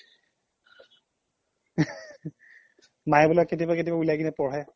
মাইয় বোলে কেতিয়াবা কেতিয়াবা উলাই কিনে পঢ়ে